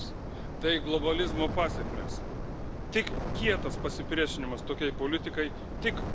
Tik kietas pasipriešinimas tokiai politikai, tik kontrglobalizmas gali pakeisti padėtį.